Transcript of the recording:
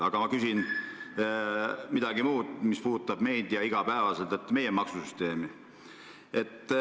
Ent ma küsin midagi muud, mis puudutab meid igapäevaselt: see on meie maksusüsteem.